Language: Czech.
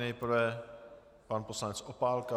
Nejprve pan poslanec Opálka.